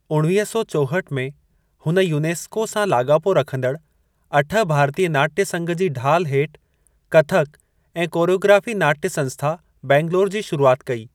उणिवीह सौ चोहठि में, हुन यूनेस्को सां लाॻापो रखंदड अठ भारतीय नाट्य संघ जी ढाल हेठ कथक ऐं कोरियोग्राफी नाटय संस्था, बैंगलोर जी शुरुआत कई।